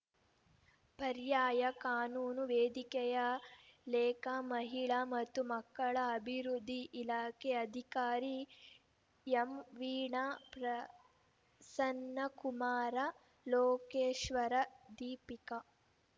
ಪರ್ಯಾಯ ಕಾನೂನು ವೇದಿಕೆಯ ಲೇಖಾ ಮಹಿಳಾ ಮತ್ತು ಮಕ್ಕಳ ಅಭಿವೃದ್ಧಿ ಇಲಾಖೆ ಅಧಿಕಾರಿ ಎಂವೀಣಾ ಪ್ರ ಸನ್ನಕುಮಾರ ಲೋಕೇಶರ ದೀಪಿಕ